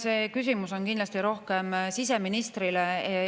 See küsimus on kindlasti rohkem siseministrile.